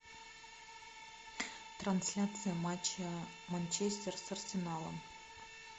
трансляция матча манчестер с арсеналом